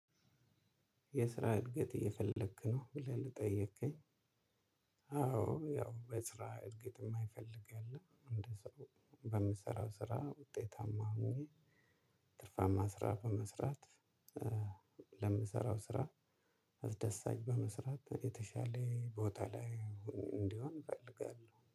የስራ እድገት እየፈለክ ነ? ብለህ ለጠየከኝ አዎ ያው በስራ እድገት የማይፈልግ የለም እንደዛው በምሰራው ስራ ውጤታማ መሆን ትርፋማ ስራ በመስራት ለምሰራው ስራ አስደሳች በመስራት የተሻለ ቦታ ላይ እንድሆን እፈልጋለሁ።